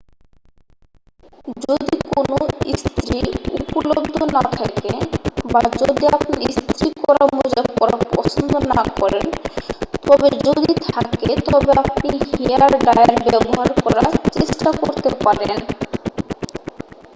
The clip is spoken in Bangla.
যদি কোনও ইস্ত্রি উপলব্ধ না থাকে বা যদি আপনি ইস্ত্রি করা মোজা পরা পছন্দ না করেন তবে যদি থাকে তবে আপনি হেয়ারডায়ার ব্যবহার করার চেষ্টা করতে পারেন